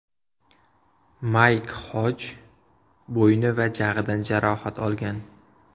Mayk Xoj bo‘yni va jag‘idan jarohat olgan.